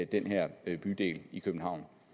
den her bydel i københavn